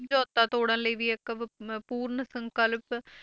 ਸਮਝੋਤਾ ਤੋੜਨ ਲਈ ਵੀ ਇੱਕ ਅਹ ਪੂਰਨ ਸੰਕਲਪ